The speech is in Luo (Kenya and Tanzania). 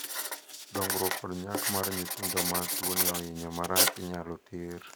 dongruok kod nyak mar nyithindo ma tuoni ohinyo marach inyalo thir